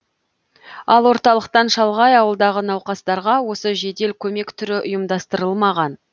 ал орталықтан шалғай ауылдағы науқастарға осы жедел көмек түрі ұйымдастырылмаған